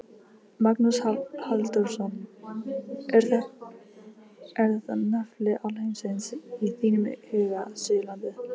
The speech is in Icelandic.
Magnús Halldórsson: Er þetta nafli alheimsins í þínum huga, Suðurlandið?